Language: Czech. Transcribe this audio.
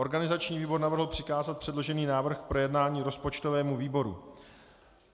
Organizační výbor navrhl přikázat předložený návrh k projednání rozpočtovému výboru.